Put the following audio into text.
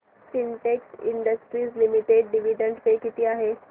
Sintex industries limited dividend pay किती आहे